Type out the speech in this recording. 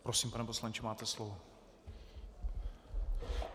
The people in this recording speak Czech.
Prosím pane poslanče, máte slovo.